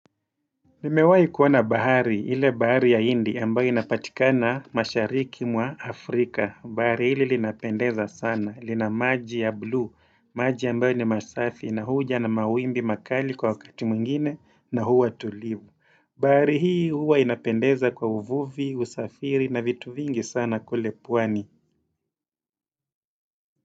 Nimewai kuona bahari, ile bahari ya indi ambayo inapatikana mashariki mwa Afrika. Bahari hili linapendeza sana. Lina maji ya blue, maji ambayo ni masafi na huja na mawimbi makali kwa wakati mwingine na huwa tulivu. Bahari hii huwa inapendeza kwa uvuvi, usafiri na vitu vingi sana kule pwani.